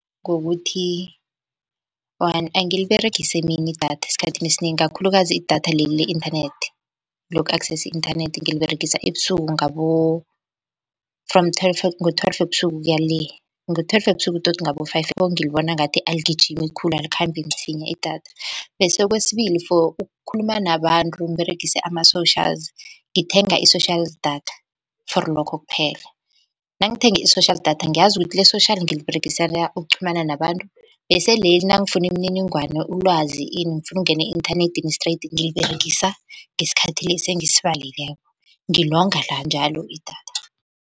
Ngokuthi angiliberegisI emini idatha esikhathini esinengi kakhulukazi idatha leli le-inthanethi loku-accessor i-inthanethi ngiliberegisa ebusuku ngabo from twelve , ngo-twelve ebusuku ukuya le, ngo-twelve webusuku tot ngabo-five ngilibona ngathi aligijimi khulu alikhambi msinya idatha. Bese kwesibili, for ukukhuluma nabantu ngiberegise ama-socials ngithenga i-social data for lokho kuphela. Nangithenge i-social data ngiyazi ukuthi le-social ngiliberegisela ukuqhumana nabantu. Bese leli nangifuna imininingwane, ulwazi ini, ngifuna ukungena e-inthanedini straight ngiliberegisa ngesikhathi lesi engisibalileko ngilonga njalo idatha.